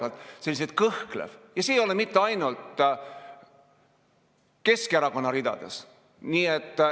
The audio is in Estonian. Ja see ei ole olnud mitte ainult Keskerakonna ridades.